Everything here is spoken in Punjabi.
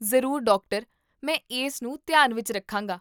ਜ਼ਰੂਰ, ਡਾਕਟਰ! ਮੈਂ ਇਸ ਨੂੰ ਧਿਆਨ ਵਿੱਚ ਰੱਖਾਂਗਾ